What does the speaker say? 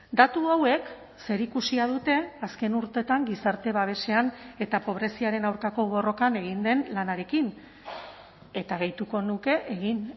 datu hauek zerikusia dute azken urteetan gizarte babesean eta pobreziaren aurkako borrokan egin den lanarekin eta gehituko nuke egin